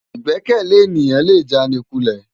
Igbèkèlé éniyán lé jánikúlè